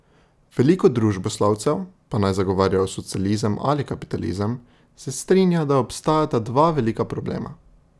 Veliko družboslovcev, pa naj zagovarjajo socializem ali kapitalizem, se strinja, da obstajata dva velika problema.